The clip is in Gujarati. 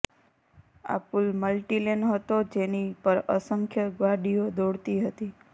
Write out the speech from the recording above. આ પુલ મલ્ટી લેન હતો જેની પર અસંખ્ય ગાડીઓ દોડતી હતી